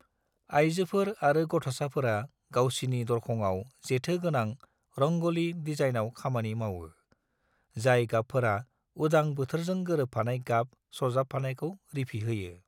आइजोफोर आरो गथ'साफोरा गावसिनि दरखंआव जेथो गोनां रंग'लि दिजाइनयाव खामानि मावो, जाय गाबफोरा उदां बोथोरजों गोरोबफानाय गाब सारफावनायखौ रिफिहोयो।